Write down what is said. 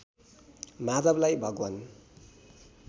माधवलाई भगवान्